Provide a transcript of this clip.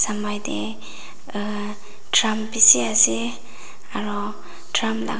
amei te drum bisi ase aru drum laga--